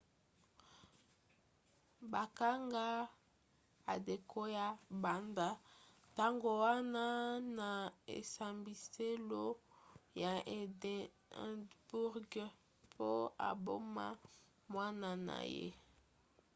bakanga adekoya banda ntango wana na esambiselo ya edinburgh mpo aboma mwana na ye